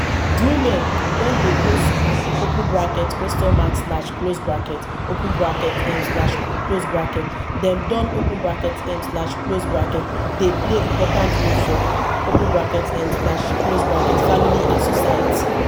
as women don dey go school um dem don um dey play important role for um family and society